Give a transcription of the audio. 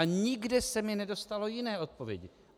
A nikde se mi nedostalo jiné odpovědi.